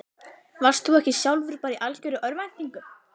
Varst þú ekki sjálfur bara í algjörri örvæntingu?